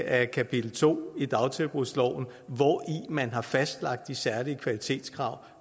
af kapitel to i dagtilbudsloven hvori man har fastlagt de særlige kvalitetskrav